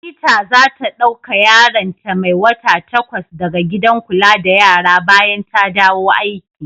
Anita za ta dauka yaron ta mai wata takwas da ga gidan kula da yara bayan ta dawo aiki.